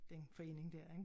Den forening der ik